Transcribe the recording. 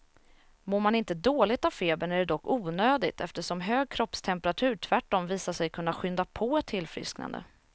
Mår man inte dåligt av febern är det dock onödigt, eftersom hög kroppstemperatur tvärtom visat sig kunna skynda på ett tillfrisknande.